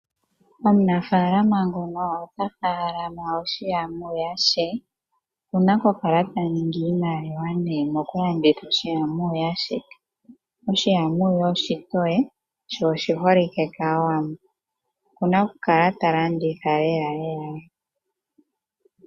Omunafaalama ngono otafaalama oshi amooya she. Okuna okukala taningi iimaliwa nee mokulanditha oshi amooya she. Oshi amooya oshitoye sho oshiholike kAawambo. Okuna okukala talanditha lelalela.